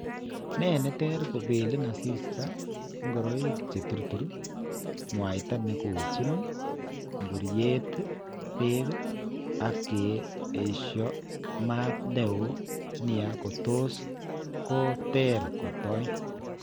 Ne tere kobeelin asisto, ng'oroik che turtuur, ng'waita ne kochin nkuryeet peek ak ke aisho maat ne oo nia ko tos ko ter kotoi.